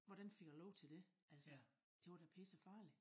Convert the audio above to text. Hvordan fik jeg lov til dét altså det var da pissefarligt